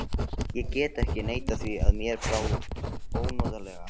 Ég get ekki neitað því að mér brá ónotalega.